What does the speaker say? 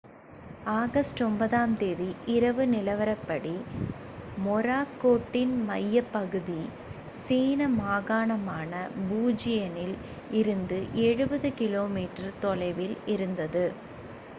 August 9-ஆம் தேதி இரவு நிலவரப்படி மொராக்கோட்டின் மையப்பகுதி சீன மாகாணமான புஜியனில் இருந்து எழுபது கிலோமீட்டர் தொலைவில் இருந்தது